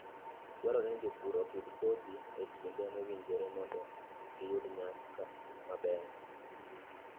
Dwarore ni jopur opidh kodhi e kinde mowinjore mondo giyud nyak maber.